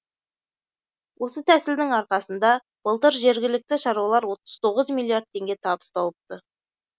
осы тәсілдің арқасында былтыр жергілікті шаруалар отыз тоғыз миллиард теңге табыс тауыпты